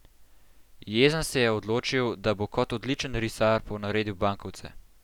Jezen se je odločil, da bo kot odličen risar ponaredil bankovce.